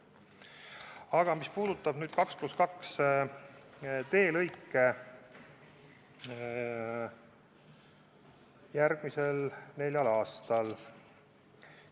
Aga nüüd sellest, mis puudutab 2 + 2 teelõikude ehitamist järgmisel neljal aastal.